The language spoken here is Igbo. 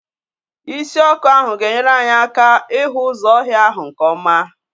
Isi ọkụ ahụ ga enyere anyị aka ịhụ ụzọ ọhịa ahụ nke ọma.